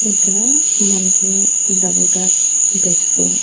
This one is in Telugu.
ఇక్కడ మనకి డబుల్ కాట్ బెడ్స్ .